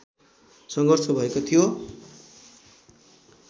सङ्घर्ष भएको थियो